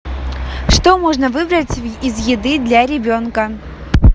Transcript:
что можно выбрать из еды для ребенка